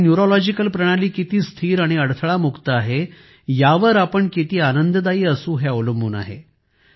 आपली न्यूरोलॉजिकल प्रणाली किती स्थिर आणि अडथळा मुक्त आहे यावर आपण किती आनंददायी असू हे अवलंबून आहे